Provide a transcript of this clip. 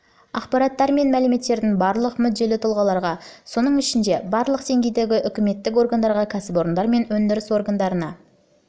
ақпараттар мен мәліметтердің барлық мүдделі тұлғаларға соның ішінде барлық деңгейдегі үкіметтік органдарға кәсіпорындар мен өндіріс орындарына сонымен